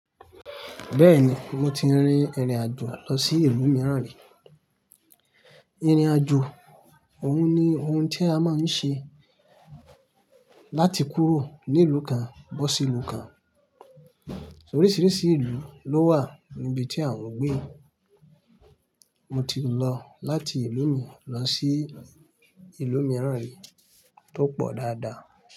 Bẹ́ẹ̀ni, mo ti rin ìrìn àjò lọ sí ìlú mìíràn rí. Ìrìn àjò òun ni ohun tí a máa ń ṣe láti kúrò ní ìlú kan bọ́ sí ìlú kan. Oríṣiríṣi ìlú ló wà níbi tí àwọn gbé. Mo ti lọ láti ìlú mi lọ sí ìlú mìíràn rí tó pọ̀ dáadáa.